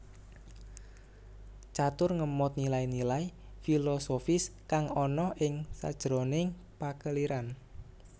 Catur ngemot nilai nilai filosofis kang ana ing sajroning pakeliran